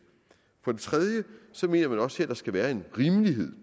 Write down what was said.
for det tredje mener man også her at der skal være en rimelighed